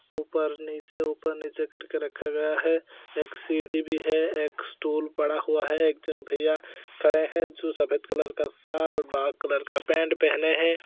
ऊपर नीचे ऊपर नीचे करके रखा गया है एक सीडी भी है एक स्टूल पड़ा हुआ है एक झन भैया खड़े है जो सफेद कलर का शर्ट ब्लैक कलर का पेंट पहने है।